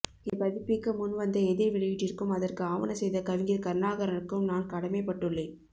இதைப் பதிப்பிக்க முன்வந்த எதிர் வெளியீட்டிற்கும் அதற்கு ஆவனசெய்த கவிஞர் கருணாகரனுக்கும் நான் கடமைப்பட்டுள்ளேன்